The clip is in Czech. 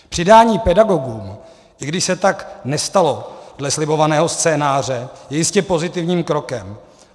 Přidání pedagogům, i když se tak nestalo dle slibovaného scénáře, je jistě pozitivním krokem.